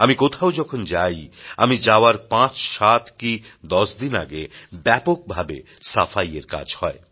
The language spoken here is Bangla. আমি কোথাও যখন যাই আমি যাওয়ার পাঁচ সাত কি দশ দিন আগে ব্যাপকভাবে সাফাইয়ের কাজ হয়